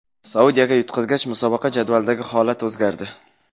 Saudiyaga yutqazgach, musobaqa jadvalidagi holat o‘zgardi.